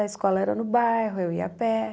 A escola era no bairro, eu ia a pé.